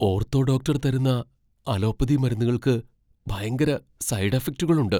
Ortho doctor തരുന്ന allopathy മരുന്നുകൾക്ക് ഭയങ്കര സൈഡ് ഇഫക്ടുകൾ ഉണ്ട്.